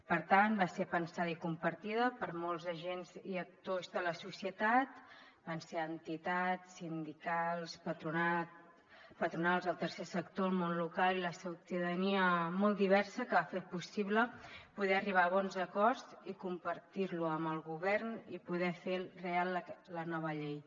per tant va ser pensada i compartida per molts agents i actors de la societat van ser entitats sindicals patronals el tercer sector el món local i la ciutadania molt diversa que va fer possible poder arribar a bons acords i compartir los amb el govern per poder fer real la nova llei